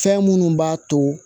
Fɛn minnu b'a to